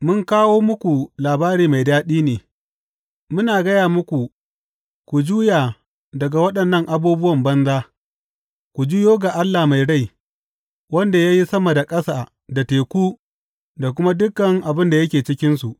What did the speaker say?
Mun kawo muku labari mai daɗi ne, muna gaya muku ku juya daga waɗannan abubuwa banza, ku juyo ga Allah mai rai, wanda ya yi sama da ƙasa da teku da kuma dukan abin da yake cikinsu.